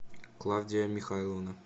клавдия михайловна